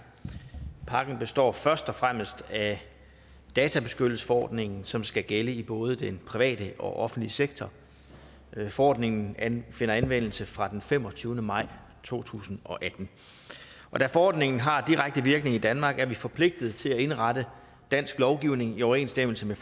pakken består først og fremmest af databeskyttelsesforordningen som skal gælde i både den private og den offentlige sektor forordningen finder anvendelse fra den femogtyvende maj to tusind og atten og da forordningen har direkte virkning i danmark er vi forpligtet til at indrette dansk lovgivning i overensstemmelse med